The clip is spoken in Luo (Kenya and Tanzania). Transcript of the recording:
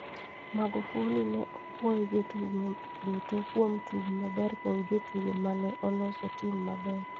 Magufuli ne opwoyo jotugo duto kuom tugo maber kod jotugo ma ne oloso tim maber.